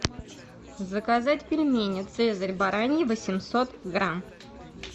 заказать пельмени цезарь бараньи восемьсот грамм